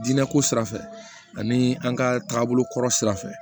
Jinɛ ko sira fɛ ani an ka taabolokɔrɔ sira fɛ